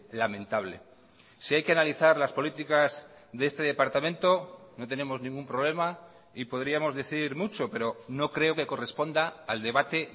lamentable si hay que analizar las políticas de este departamento no tenemos ningún problema y podríamos decir mucho pero no creo que corresponda al debate